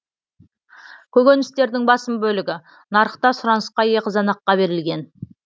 көкөністердің басым бөлігі нарықта сұранысқа ие қызанаққа берілген